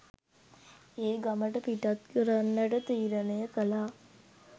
ඒ ගමට පිටත් කරන්නට තීරණය කළා.